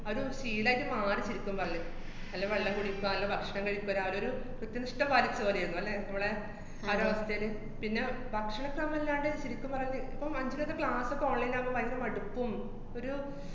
അതൊരു ശീലായിട്ട് മാറി ശെരിക്കും പറഞ്ഞാ. അല്ലേ വെള്ളം കുടിക്കാ, നല്ല ഭക്ഷണം കഴിക്കാ, ഇപ്പ രാവിലെയൊരു കൃത്യനിഷ്ഠ പാലിച്ചപോലെയാര്ന്ന്, അല്ലേ മോളെ? ആ ഒരവസ്ഥേല്. പിന്നെ ഭക്ഷണക്രമയില്ലാണ്ട് ശെരിക്കും പറഞ്ഞാ, ഇപ്പ അഞ്ജിതേടെ class ഒക്കെ online ആകുമ്പ ബയങ്കര മടുപ്പും ഒരു